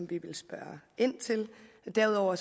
vil spørge ind til derudover